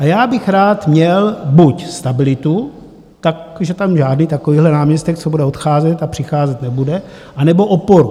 A já bych rád měl buď stabilitu, takže tam žádný takovýhle náměstek, co bude odcházet a přicházet nebude, anebo oporu.